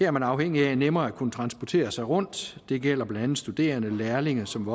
er man afhængig af nemmere at kunne transportere sig rundt det gælder blandt andet studerende og lærlinge som